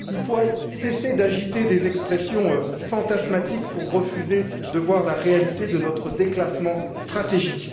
Il nous faut cesser d'agiter des expressions fantasmatiques pour refuser de voir la réalité de notre déclassement stratégique.